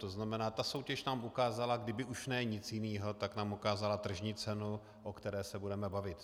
To znamená, ta soutěž tam ukázala, kdyby už ne nic jiného, tak nám ukázala tržní cenu, o které se budeme bavit.